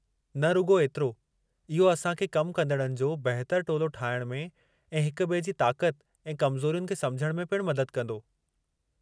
न रुॻो एतिरो, इहो असां खे कमु कंदड़नि जो बहितर टोलो ठाहिणु में ऐं हिक ॿिए जी ताक़त ऐं कमज़ोरियुनि खे समुझण में पिणु मदद कंदो।